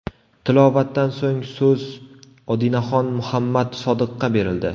Tilovatdan so‘ng so‘z Odinaxon Muhammad Sodiqqa berildi.